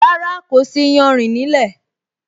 Rárá, kò sí iyanrìn nílẹ́